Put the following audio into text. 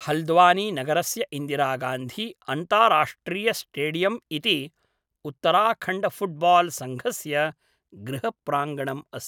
हल्द्वानीनगरस्य इन्दिरागान्धी अन्ताराष्ट्रियस्टेडियम् इति उत्तराखण्डफुट्बाल् सङ्घस्य गृहप्राङ्गणम् अस्ति।